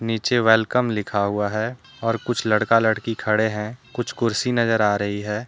नीचे वेलकम लिखा हुआ है और कुछ लड़का लड़की खड़े हैं कुछ कुर्सी नजर आ रही है।